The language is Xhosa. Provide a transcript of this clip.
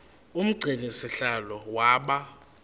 umgcini sihlalo waba